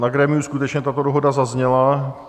Na grémiu skutečně tato dohoda zazněla.